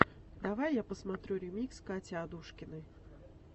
давай я посмотрю ремикс кати адушкиной